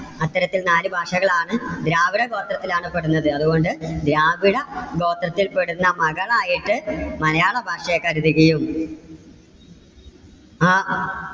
അത്തരത്തിൽ നാല് ഭാഷകൾ ആണ്. ദ്രാവിഡ ഗോത്രത്തിൽ ആണ് പെടുന്നത്. അതുകൊണ്ട് ദ്രാവിഡ ഗോത്രത്തിൽ പെടുന്ന മകളായിട്ട് മലയാള ഭാഷയെ കരുതുകയും. ആ